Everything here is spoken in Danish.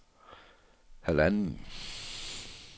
halvanden